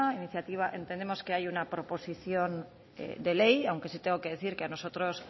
entendemos que hay una proposición de ley aunque sí tengo que decir que a nosotros